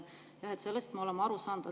Jah, sellest me oleme aru saanud.